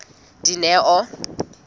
dineo